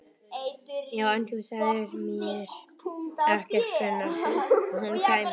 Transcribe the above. Já, en þú sagðir mér ekkert hvenær hún kæmi.